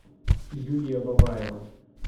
юлия бабаева